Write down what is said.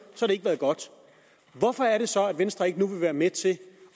har det ikke været godt hvorfor er det så at venstre ikke nu vil være med til